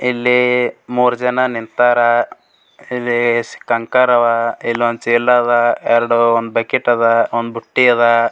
ಇಲ್ಲಿ ಮೂರ್ ಜನ ನಿಂತರ್ ಇಲ್ಲಿ ಕಂಕರ್ ಅವ್ ಇಲ್ಲೊಂದ್ ಚೀಲ ಅವ್ ಎರಡು ಒಂದ್ ಬಕೆಟ್ ಅದ್ ಒಂದ್ ಬುಟ್ಟಿ ಅದ್.